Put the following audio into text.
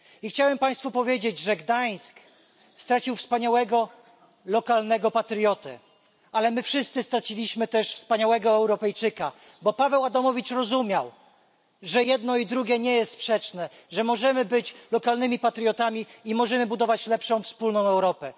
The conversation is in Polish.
Chciałem Państwu powiedzieć, że Gdańsk stracił wspaniałego lokalnego patriotę, ale my wszyscy straciliśmy też wspaniałego Europejczyka, bo Paweł Adamowicz rozumiał, że jedno i drugie nie jest sprzeczne, że możemy być lokalnymi patriotami i że możemy budować lepszą wspólną Europę.